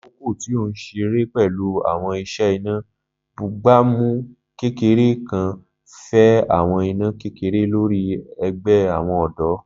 Lakoko ti o nṣire pẹlu awọn iṣẹ ina, bugbamu kekere kan fa awọn ina kekere lori ẹgbẹ awọn ọdọ.